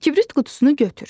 Kibrit qutusunu götür.